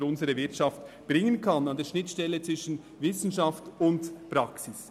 Schliesslich steht sie an der Schnittstelle zwischen Wissenschaft und Praxis.